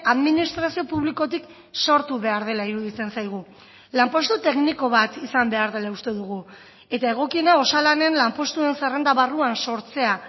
administrazio publikotik sortu behar dela iruditzen zaigu lanpostu tekniko bat izan behar dela uste dugu eta egokiena osalanen lanpostuen zerrenda barruan sortzea